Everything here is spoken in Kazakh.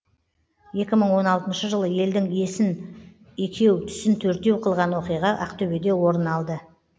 екі мың он алтыншы жылы елдің есін екеу түсін төртеу қылған оқиға ақтөбеде орын алды